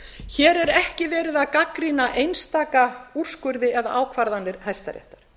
hér er ekki verið að gagnrýna einstaka úrskurði eða ákvarðanir hæstaréttar